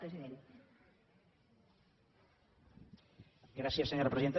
gràcies senyora presidenta